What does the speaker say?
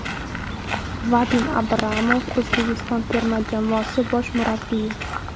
Vadim Abramov, O‘zbekiston terma jamoasi bosh murabbiyi !